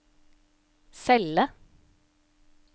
celle